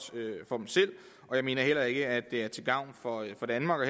for dem selv og jeg mener heller ikke at det er til gavn for danmark og